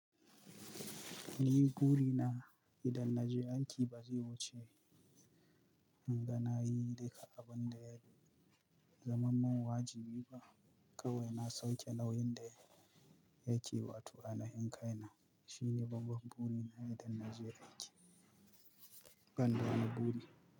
Ni buri na idan Najeriya yake ba zai wuce hanga nayi daga abin da ya zamar min wajibi ba kawai na sauke nauyin da yake ba tu'a na hankaina. Shi ne babban buri na idan Najeriya yake, kanda na buri.